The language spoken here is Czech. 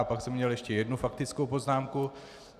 A pak jsem měl ještě jednu faktickou poznámku.